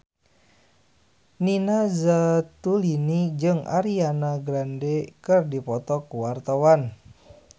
Nina Zatulini jeung Ariana Grande keur dipoto ku wartawan